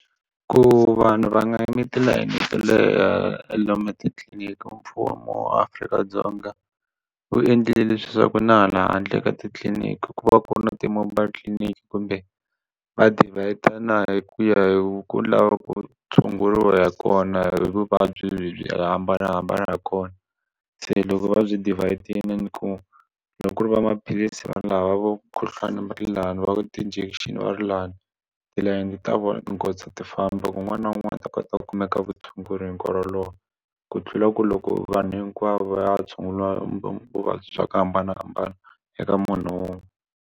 Ku vanhu va nga yimi tilayini to leha lomu titliliniki mfumo Afrika-Dzonga wu endlile leswaku na hala handle ka titliliniki ku va ku ri na ti mobile tliliniki kumbe va divider na hi ku ya hi ku lava ku tshunguriwa hi kona hi vuvabyi lebyi hambanahambana kona se loko va byi devid-ini ku loko ku ri va maphilisi vanhu lava vo mukhuhlwani lani va ti-injection va ri lani tilayini ta vona tinghozi ti famba ku un'wana na un'wana a ta kota ku kumeka vutshunguri hi nkarhi walowo ku tlula ku loko vanhu hinkwavo va ya tshunguriwa vuvabyi bya ku hambanahambana eka munhu wun'we.